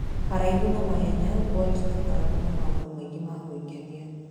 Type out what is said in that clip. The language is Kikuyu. Haraihu na mahenya, Bolt nĩ akoragwo na maũndũ maingĩ ma gwĩkenia.